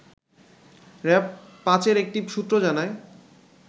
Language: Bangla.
র‌্যাব-৫ এর একটি সূত্র জানায়